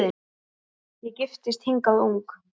Ég giftist hingað ung